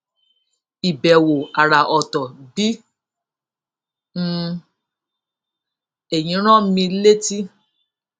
ìbèwò àrà òtò bi um èyí rán mi létí